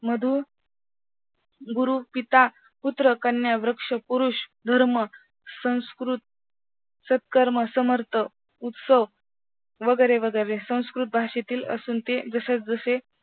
मधू, गुरु, पिता पुत्र, कन्या, वृक्ष, पुरुष, धर्म, संस्कृत, सत्कर्म, समर्थ, उत्सव, वगैरे वगैरे संस्कृत भाषेतील असून ते जशास तसे